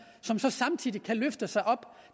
som så samtidig kan løfte sig op